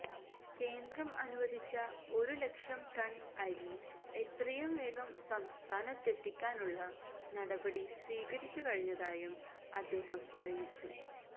കേന്ദ്രം അനുവദിച്ച ഒരുലക്ഷം ടണ് അരി എത്രയും വേഗം സംസ്ഥാനത്തെത്തിക്കാനുള്ള നടപടി സ്വീകരിച്ചുകഴിഞ്ഞതായും അദ്ദേഹം അറിയിച്ചു